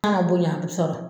N'a ma bonya a bi sɔrɔ